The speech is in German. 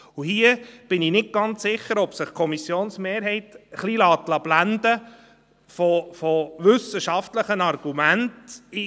Hier bin ich nicht ganz sicher, ob sich die Kommissionsmehrheit von wissenschaftlichen Argumenten ein wenig blenden lässt.